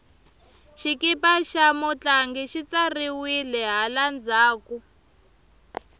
xikipa xa mutlangi xi tsariwile hala ndzhaku